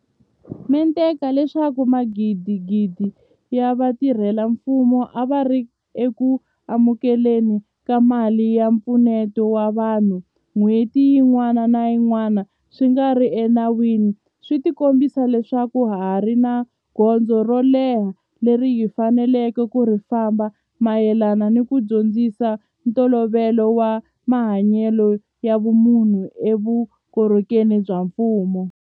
mente ka leswaku magidigidi ya vatirhela mfumo a va ri eku amukele ni ka mali ya mpfuneto wa vanhu n'hweti yin'wana ni yin'wana swi nga ri ena wini swi kombisa leswaku ha ha ri ni gondzo ro leha leri hi faneleke ku ri famba mayelana ni ku dyondzisa ntolovelo wa mahanyelo ya vumunhu eka vuko rhokeri bya mfumo.